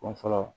Kun fɔlɔ